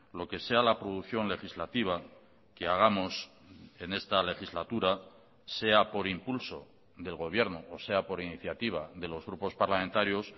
lo que sea la producción legislativa que hagamos en esta legislatura sea por impulso del gobierno o sea por iniciativa de los grupos parlamentarios